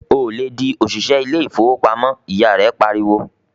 "Ò lè di òṣìṣẹ́ ilé ìfowópamọ́!", ìyá rẹ pariwo.